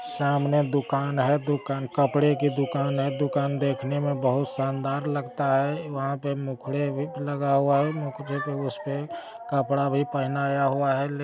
सामने दुकान है दुकान कपडे की दुकान है दुकान देखने में बहुत शानदार लगता है वहाँ पे मुखड़े भी लगा हुआ है मुखड़े पे उसपे कपडा भी पहनाया हुआ है ले--